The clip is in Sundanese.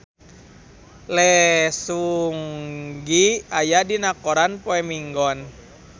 Lee Seung Gi aya dina koran poe Minggon